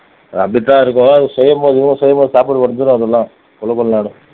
அது அப்படித்தான் இருக்கும் அது செய்யும்போது செய்யும்போது சாப்பிட